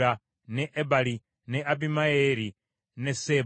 ne Ebali, ne Abimayeeri, ne Seeba;